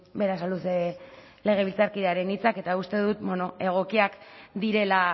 berasaluze legebiltzarkidearen hitzak eta uste dut egokiak direla